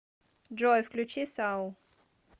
джой включи сау